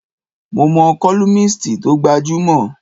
Mo mo columnist tó gbajúmọ̀.